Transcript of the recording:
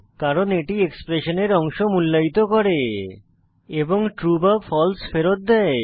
কারণ এটি এক্সপ্রেশনের অংশ মূল্যায়িত করে এবং ট্রু বা ফালসে ফেরৎ দেয়